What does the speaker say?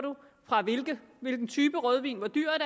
hvilken type rødvin hvor dyr